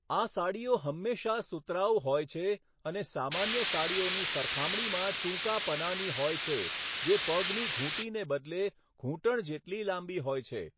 આ સાડીઓ હંમેશાં સુતરાઉ હોય છે અને સામાન્ય સાડીઓની સરખામણીમાં ટૂંકા પનાની હોય છે, જે પગની ઘૂંટીને બદલે ઘૂંટણ જેટલી લાંબી હોય છે.